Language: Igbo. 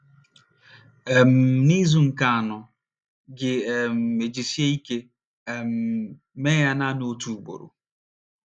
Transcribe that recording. um N’izu nke anọ, gị um ejisie ike um mee ya naanị otu ugboro.